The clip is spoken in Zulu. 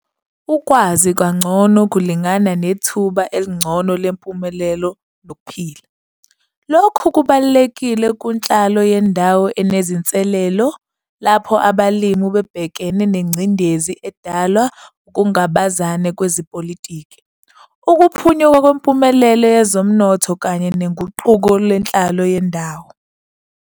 Ukwazi kangcono kulingana nethuba elingcono lempumelelo nokuphila. Lokhu kubalulekile kunhlalo yendawo enezinselelo lapho abalimi bebhekene nengcindezi edalwa ungabazane kwezepolitiki, ukuphunyuka kwempumelelo yezomnotho kanye noguquko lwenhlalo yendawo.